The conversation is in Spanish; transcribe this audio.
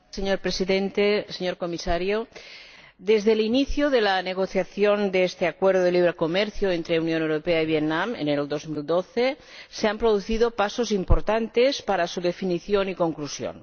Señor Presidente, señor Comisario, desde el inicio de la negociación de este Acuerdo de Libre Comercio entre la Unión Europea y Vietnam, en enero de 2012, se han producido pasos importantes para su definición y conclusión.